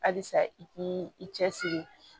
Halisa i k'i i cɛsiri